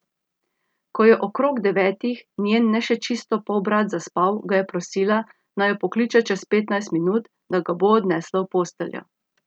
Ko je okrog devetih njen ne še čisto polbrat zaspal, ga je prosila, naj jo pokliče čez petnajst minut, da ga bo odnesla v posteljo.